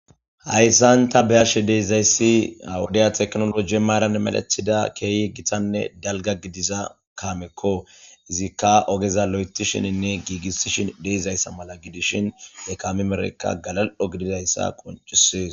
hayssan ta beyashe deiizayssi ha wodiya teknoloje maaran malethida keehi githanne dalga gidiza kaamekko izikka ogeza lo7etishininne giigissishin deeizayssa mala gidishin ne kamemerekka galal7o gididayssa qoncisees